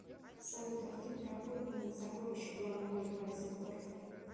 салют а фильм про охотника на сокровища в главной роли харрисон форд